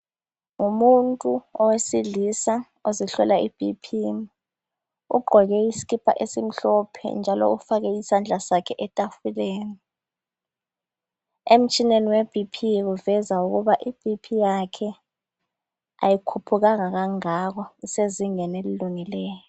Umuntu owesilisa ozihlola iBP ugqoke isikipa esimhlophe njalo ufake isandla sakhe etafuleni. Emtshineni weBP kuveza ukuba iBP yakhe kayikhuphukanga kangako isezingeni elilungileyo